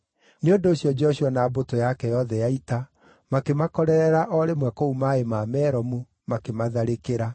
Nĩ ũndũ ũcio Joshua na mbũtũ yake yothe ya ita, makĩmakorerera o rĩmwe kũu maaĩ ma Meromu, makĩmatharĩkĩra,